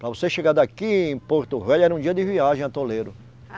Para você chegar daqui em Porto Velho era um dia de viagem atoleiro.